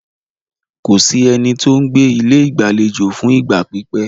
Kò sí ẹni tí o ń gbé ilé ìgbàlejò fún ìgbà pípẹ́.